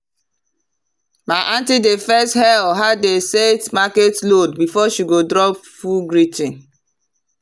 my aunty dey first hail how dem set market load before she drop full greeting.